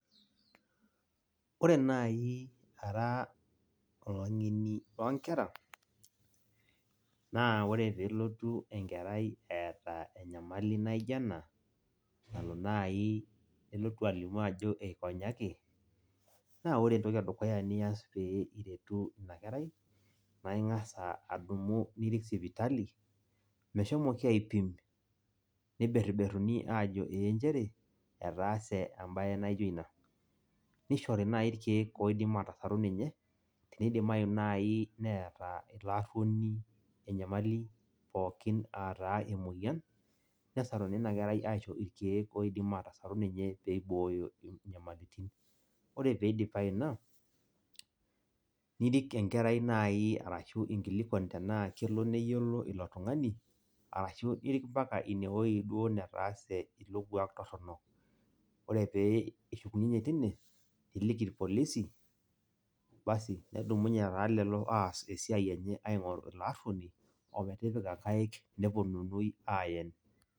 Ore nai ara olang'eni loonkera, naa ore pelotu enkerai eeta enyamali naijo ena, nalo nai nelotu alimu ajo eikonyaki, naa ore entoki edukuya nias pee iretu inakerai, na ing'asa adumu nirik sipitali, meshomoiki aipim, niberberruni ajo ee njere, etaase ebae naijo ina. Nishori nai irkeek oidim atasaru ninye, tenidimayu nai neeta ilo arruoni enyamali pookin ataa emoyian, nesaruni inakerai aisho irkeek oidim atasaru ninye pibooyo inyamalitin. Ore pidipayu ina, nirik enkerai nai arashu inkilikwan tenaa kelo neyiolo ilo tung'ani, arashu irik mpaka inewoi duo netaase ilo kuak torrono. Ore pe ishukunyenye tine, niliki irpolisi, basi nedumunye taa lelo aas esiai enye aing'oru ilo arruoni, ometipika nkaik neponunui aen.